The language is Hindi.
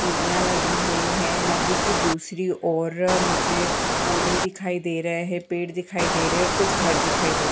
सीडिया लगी हुई है नदी के दूसरी और मुझे पौधे दिखाई दे रहे हैपेड़ दिखाई दे रहे है और कुछ घर दिखाई दे रहे --